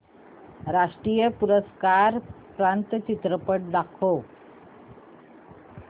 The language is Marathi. राष्ट्रीय पुरस्कार प्राप्त चित्रपट दाखव